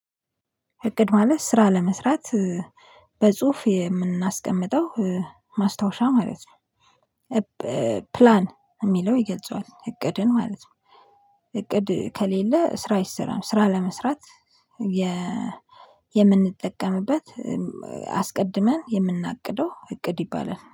እቅድ ማለት ስራ ለመስራት በጽሁፍ የምናስቀመጠው ማስታወሻ ማለት ነው። ፕላን የሚለው ይገጽዋል እቅድን ማለት ነው። እቅድ ከሌለ ስራ አይስራም። ስራ ለመስራት የምንጠቀምበት አስቀድመን የምናቅደው እቅድ ይባላል።